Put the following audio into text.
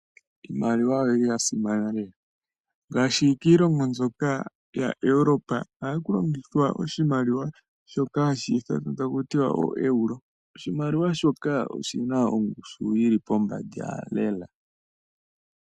Iimaliwa oya simana lela, ngaashi kiilonga mbyoka yaEuropa ohaku longithwa oshimaliwa shoka hashi ithanwa taku tiwa ooeuro. Oshimaliwa shoka oshi na ongushu yi li pombanda lela.